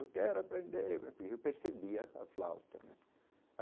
Eu quero aprender, porque eu percebia a flauta né.